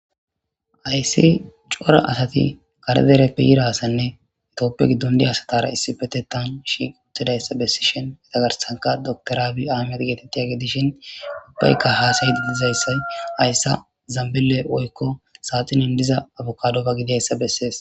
Ayssi cora asati karedereppiyirasanne itooppe giddon diya asatara issifete tan shi uttidayssa bessishin etagarsanka doktoraabi aamiat geetettiya gedishin upbeykka haasaydi dizayssay ayssa zambile oykko saatinin diza abukadofa gidayssa bessees.